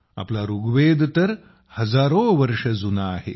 आपला ऋग्वेद तर हजारो वर्ष जुना आहे